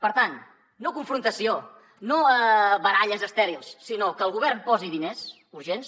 per tant no confrontació no a baralles estèrils sinó que el govern posi diners urgents